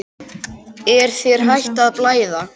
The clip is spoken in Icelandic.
Er þér hætt að blæða?